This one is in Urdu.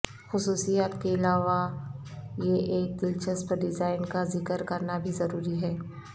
خصوصیات کے علاوہ یہ ایک دلچسپ ڈیزائن کا ذکر کرنا بھی ضروری ہے